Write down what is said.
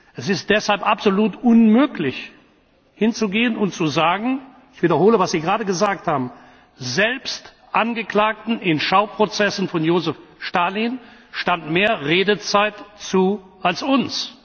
Es ist deshalb absolut unmöglich, hinzugehen und zu sagen ich wiederhole, was Sie gerade gesagt haben Selbst Angeklagten in Schauprozessen von Josef Stalin stand mehr Redezeit zu als uns.